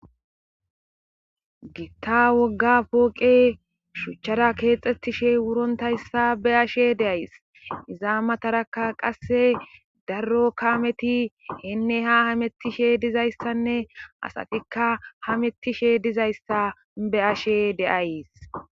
Gitta wogga pooqe shuchchara keexxetishe wurontayssa be ashe deays izaamatarakka qasse darro kameti heenne ha hamettishe dizayssanne asatikka hamettishe dizayssa be ashe deays.